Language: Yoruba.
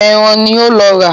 Ẹran ni ó ń lọ rà.